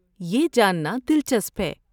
یہ جاننا دلچسپ ہے۔